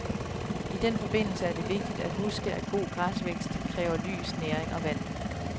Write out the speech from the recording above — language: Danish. I den forbindelse er det vigtigt at huske, at god græsvækst kræver lys, næring og vand.